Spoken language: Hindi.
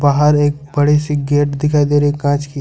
बाहर एक बड़ी सी गेट दिखाई दे रही है कांच की।